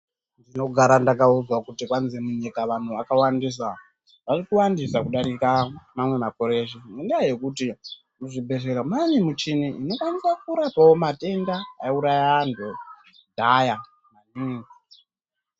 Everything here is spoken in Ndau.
Ndinogara ndakaudzwa kuti kwanzi munyika vanhu vakawandisa, varikuwandisa kudarika mamwe makore eshe ngendaa yekuti muzvibhedhlera mwaane michini inokwanisa kurapawo matenda aiuraya antu kudhaya mm.